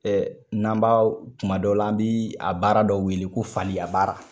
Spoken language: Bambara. Ɛɛ n'an b'a kuma dɔ la an bɛ a baara dɔw wele ko faliya baara.